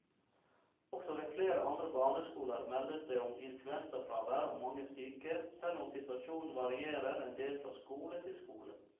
Også ved flere andre barneskoler meldes det om influensafravær og mange syke, selv om situasjonen varierer en del fra skole til skole.